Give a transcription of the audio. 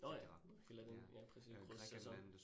Nåh ja, eller den ja præcis grussæson